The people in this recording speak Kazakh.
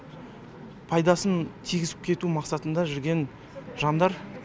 пайдасын тигізіп кету мақсатында жүрген жандар